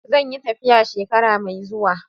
Zan yi tafiya shekara mai zuwa.